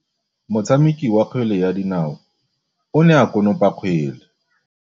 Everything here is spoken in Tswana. Motshameki wa kgwele ya dinaô o ne a konopa kgwele.